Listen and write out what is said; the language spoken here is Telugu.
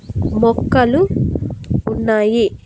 బొక్కలు ఉన్నాయి.